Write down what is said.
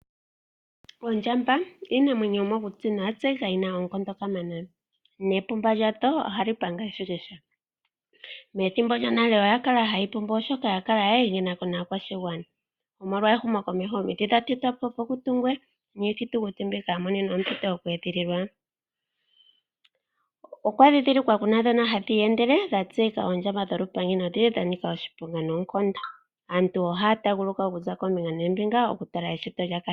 Ondjamba oshinamwenyo shomokuti nosha tseyika shi na oonkondo kamana, nomapumba gayo oha ga panga eshikisha. Methimbo lyonale oya kala ha yi pumbu molwaashoka oya kala yili kokule naakwashigana. Omolwa ehumo komeho omiti odha tetwapo opo pu tungwe niithitukuti mbika oya monenwa ompito yoku edhililwa. Oludhi loondjamba dhoka ha dhi iyendele oha dhi ithanwa ondjamba yolupangi ndhoka yi li yanika oshiponga noonkondo.